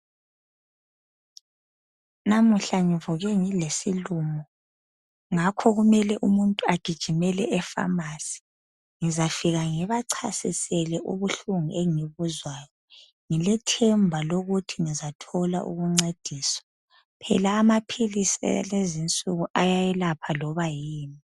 Namuhla ngivuke ngilesilumo ngakho kumele ukuthi umuntu agijimele epharmacy , ngizafika ngibachasisele ubuhlungu engibuzwayo , ngilethemba lokuthi ngizathola ukuncediswa , phela amaphilisi alenzinsuku ayayelapha noma yini